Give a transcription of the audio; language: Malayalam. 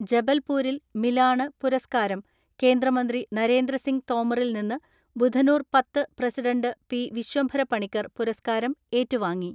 ജബൽപൂരിൽ മിലാണ് പുരസ്കാരം കേന്ദ്രമന്ത്രി നരേന്ദ്രസിംഗ് തോമറിൽ നിന്ന് ബുധനൂർ പത്ത് പ്രസിഡന്റ് പി.വിശ്വംഭര പണിക്കർ പുരസ്കാരം ഏറ്റുവാങ്ങി.